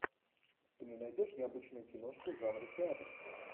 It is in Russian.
ты мне найдешь необычную киношку жанра театра